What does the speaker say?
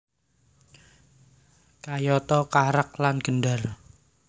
Kayata karak lan gendar